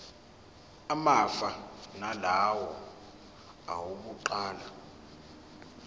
afana nalawo awokuqala